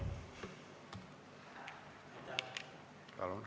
Istungi lõpp kell 14.00.